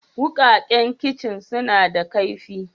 Wukakan kicin suna da kaifi.